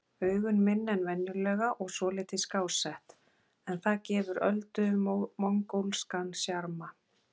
Augun minni en venjulega og svolítið skásett, en það gefur Öldu mongólskan sjarma.